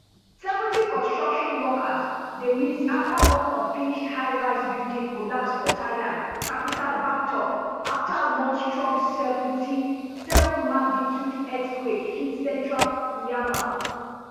seventy construction workers dey miss afta one unfinished highrise building collapse for thailand capital bangkok afta one strong seventy-seven magnitude earthquake hit central myanmar